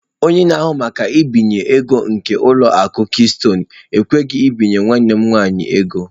Onye na-ahụ maka mbinye ego nke ụlọ akụ Keystọnụ ekweghị ebinye nwanne m nwanyị ego.